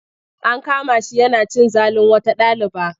An kama shi yana cin zalin wata ɗaliba.